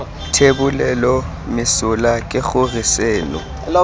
thebolelo mesola ke gore seno